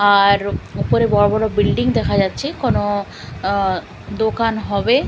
আর ওপরে বড়ো বড়ো বিল্ডিং দেখা যাচ্ছে কোনো দোকান হবে --